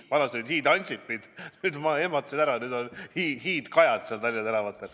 Vanasti olid hiid-Ansipid, nüüd ma ehmatasin ära, nüüd olid hiid-Kajad Tallinna tänavatel.